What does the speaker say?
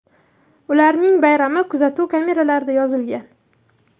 Ularning bayrami kuzatuv kameralarida yozilgan.